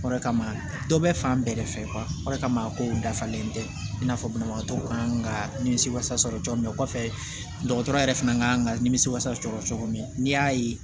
O de kama dɔ bɛ fan bɛɛ de fɛ o de kama kow dafalen tɛ i n'a fɔ banabagatɔw kan ka nimisi wasa sɔrɔ cogo min na kɔfɛ dɔgɔtɔrɔ yɛrɛ fana kan ka nimisi wasa sɔrɔ cogo min n'i y'a ye